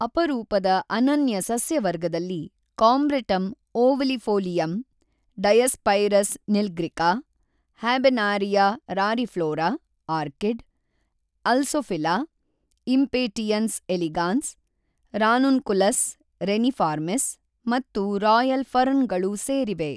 ಅಪರೂಪದ ಅನನ್ಯ ಸಸ್ಯ ವರ್ಗದಲ್ಲಿ Combretum ovalifolium, Diospyros‍ nilgirica, Habenaria rariflora (orchid), Alsophila, Impatiens elegans, Ranunculus reniformis ಮತ್ತು ರಾಯಲ್ ಫರ್ನ್‌ಗಳು ಸೇರಿವೆ.